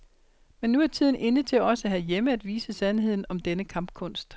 Men nu er tiden inde til også herhjemme at vise sandheden om denne kampkunst.